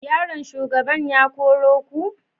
Yaron shugaban ya koro ku?